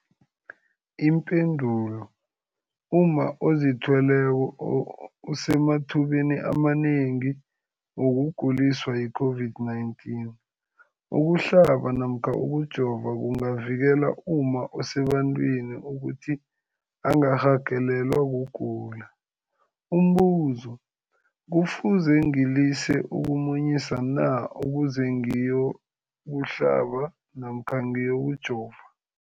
Ipendulo, umma ozithweleko usemathubeni amanengi wokuguliswa yi-COVID-19. Ukuhlaba namkha ukujova kungavikela umma osebantwini ukuthi angarhagalelwa kugula. Umbuzo, kufuze ngilise ukumunyisa na ukuze ngiyokuhlaba namkha ngiyokujova?